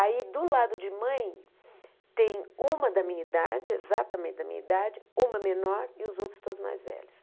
Aí, do lado de mãe, tem uma da minha idade, exatamente da minha idade, uma menor e os outros todos mais velhos.